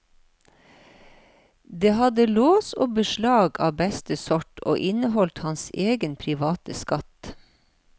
Det hadde lås og beslag av beste sort, og inneholdt hans egen private skatt.